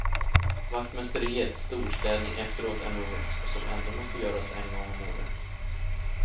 Vaktmästeriets storstädning efteråt är något, som ändå måste göras en gång om året.